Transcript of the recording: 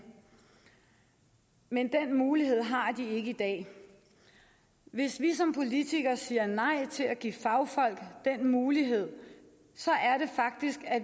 men den mulighed har de ikke i dag hvis vi som politikere siger nej til at give fagfolk den mulighed